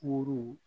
Kuru